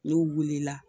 N'u wulila